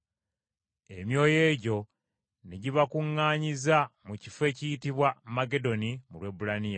Emyoyo egyo ne gibakuŋŋaanyiza mu kifo ekiyitibwa Magedoni mu Lwebbulaniya.